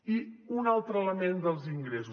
i un altre element dels ingressos